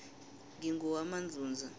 ngingowamandzundza